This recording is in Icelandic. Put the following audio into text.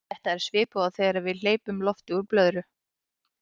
þetta er svipað og þegar við hleypum lofti úr blöðru